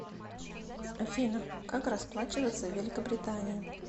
афина как расплачиваться в великобритании